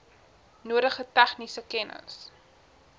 nodige tegniese kennis